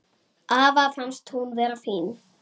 Afa fannst hún vera fín.